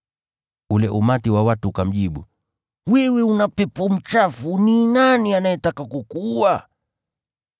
Ule umati wa watu ukamjibu, “Wewe una pepo mchafu! Ni nani anayetaka kukuua?”